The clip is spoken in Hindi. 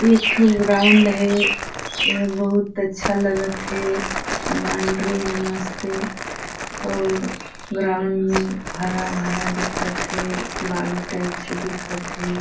एक तो ग्राउंड है यह बहुत अच्छा लगत है बाउंड्री है मस्ती और ग्राउंड में हरा भरा दिखत है बालू टाइप से दिखते --